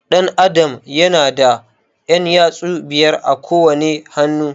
Ɗan Adam ya na da ƴan yatsu biyar a kowane hannu